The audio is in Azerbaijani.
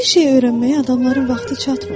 Bir şeyi öyrənməyə adamların vaxtı çatmır.